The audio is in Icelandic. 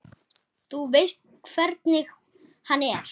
Þú veist hvernig hann er.